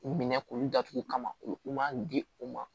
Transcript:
Minɛ k'u datugu kama u man di u ma